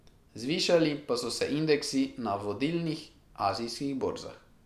Zvišali pa so se indeksi na vodilnih azijskih borzah.